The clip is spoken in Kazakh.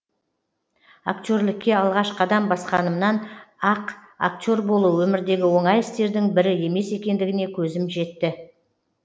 актерлікке алғаш қадам басқанымнан ақ актер болу өмірдегі оңай істердің бірі емес екендігіне көзім жетті